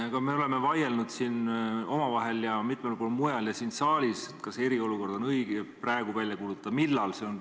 Aga me oleme vaielnud omavahel ja siin saalis ja mitmel pool mujal selle üle, kas praegu on õige eriolukord välja kuulutada või millal seda teha.